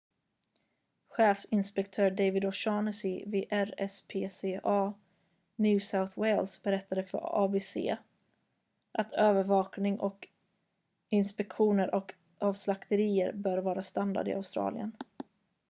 chefinspektör david o'shannessy vid rspca new south wales berättade för abc att övervakning och inspektioner av slakterier bör vara standard i australien